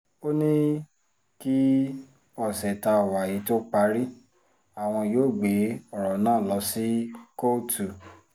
ó ní kí ọṣẹ tá a wà yìí tóó parí àwọn yóò gbé ọ̀rọ̀ náà lọ sí kóòtù